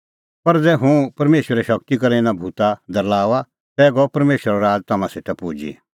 पर ज़ै हुंह परमेशरे शगती करै इना भूता दरल़ाऊआ तै गअ परमेशरो राज़ तम्हां सेटा पुजी